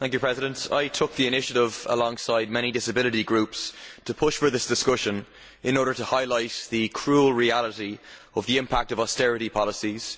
Mr President, I took the initiative, alongside many disability groups to push for this discussion in order to highlight the cruel reality of the impact of austerity policies.